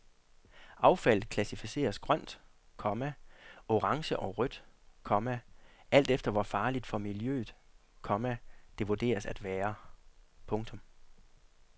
Affaldet klassificeres grønt, komma orange og rødt, komma alt efter hvor farligt for miljøet, komma det vurderes at være. punktum